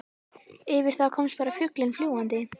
Yfir þá komst bara fuglinn fljúgandi.